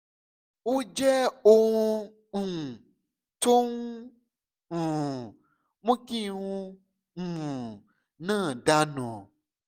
ó jẹ́ ohun um tó ń um mú kí irun um náà dà nù